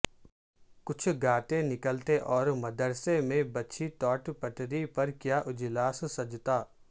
کچھ گاتے نکلتے اور مدرسے میں بچھی ٹاٹ پٹری پر کیا اجلاس سجتا